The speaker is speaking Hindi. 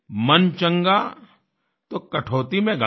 मन चंगा तो कठौती में गंगा